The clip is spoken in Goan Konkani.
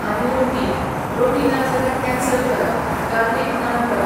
आनी रोटी, रोटी ना जाल्यार कँनसल करा, गार्लिक नान हें करा